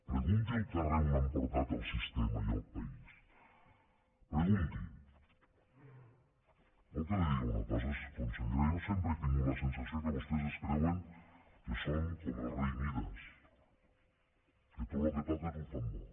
pregunti al carrer on han portat el sistema i el país pregunti vol que li digui una cosa consellera jo sempre he tingut la sensació que vostès es creuen que són com rei mides que tot el que toquen ho fan bo